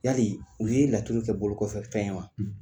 Yali u ye laturu kɛ bolo kɔfɛfɛn ye wa